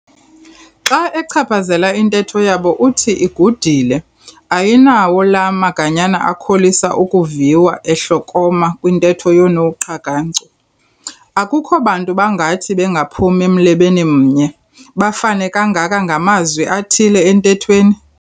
Xa achaphazela intetho yabo uthi igudile, ayinawo laa maganyana akholisa ukuviwa ehlokoma kwintetho yoonoQakancu. Akukho bantu bangathi bengaphumi mlebeni mnye, bafane kangaka ngamazwi athile entethweni.